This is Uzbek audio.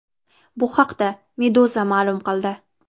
Bu haqda Meduza ma’lum qildi .